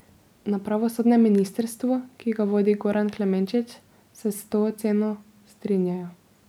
Na pravosodnem ministrstvu, ki ga vodi Goran Klemenčič, se s to oceno strinjajo.